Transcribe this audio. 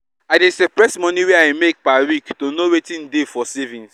i dey separate money wey i make per week to know wetin dey for savings